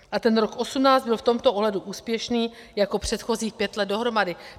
A ten rok 2018 byl v tomto ohledu úspěšný jako předchozích pět let dohromady.